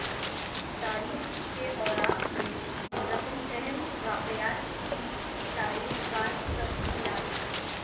تاریخ کے اوراق میں رقم اہم واقعات کی تاریخ وار تفصیلات